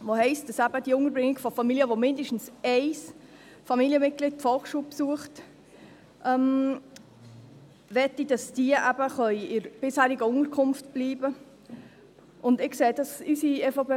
Er besagt zur Unterbringung von Familien, dass diese in ihrer bisherigen Unterkunft bleiben können, wenn mindestens ein Familienmitglied die Volksschule besucht.